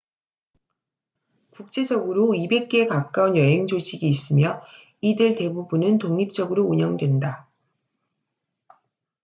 국제적으로 200개에 가까운 여행 조직이 있으며 이들 대부분은 독립적으로 운영된다